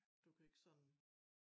Du kan ikke sådan